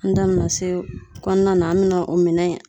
An da be na se kɔnɔna na, an be na o minɛ